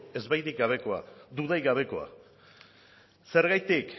ezbairik gabeko dudarik gabekoa zergatik